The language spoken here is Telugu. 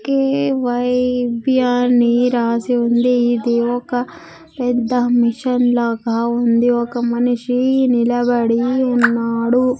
కే_వై_బి అని రాసి ఉంది ఇది ఒక పెద్ద మిషిన్ లాగా ఉంది. ఒక మనిషి నిలబడి ఉన్నాడు.